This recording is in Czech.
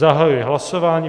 Zahajuji hlasování.